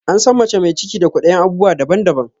An san mace mai ciki da kwaɗayin abubuwa daban daban